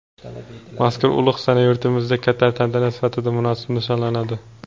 mazkur ulug‘ sana yurtimizda katta tantana sifatida munosib nishonlanadi.